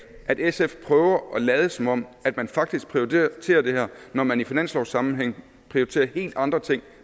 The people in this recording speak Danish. at sf prøver at lade som om man faktisk prioriterer det her når man i finanslovssammenhæng prioriterer helt andre ting